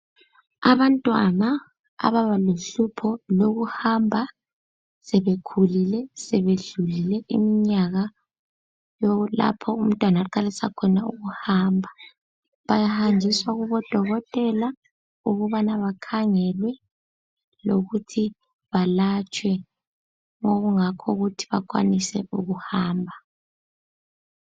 Abantwana ababalohlupho lokuhamba sebekhulile, sebedlulile iminyaka lapho umntwana aqalisa khona ukuhamba bayahanjiswa kubodokotela ukubana bakhangelwe lokuthi balatshwe okungakho ukuthi bakwanise ukuhamba.